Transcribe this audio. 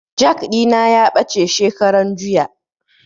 Jak ɗina ya ɓace shekaran juya